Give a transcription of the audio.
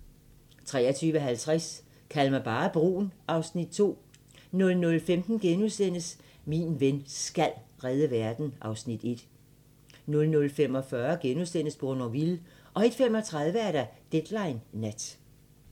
23:50: Kald mig bare brun (Afs. 2) 00:15: Min ven SKAL redde verden (Afs. 1)* 00:45: Bournonville * 01:35: Deadline Nat